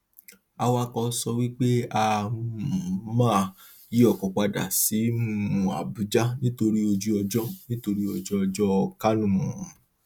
awakọ sọ pé a um máa yí ọkọ padà sí um abuja nítorí ojúọjọ nítorí ojúọjọ kánò um